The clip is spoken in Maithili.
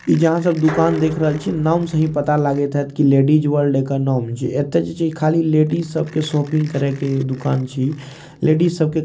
इ जे आहां सब दुकान देख रहल छीये नाम से ही पता लागएत हेत की लेडीज वर्ल्ड एकर नाम छीये एता जे छै खाली लेडिस सब के शॉपिंग करे के दुकान छीये इ लेडिस सबके --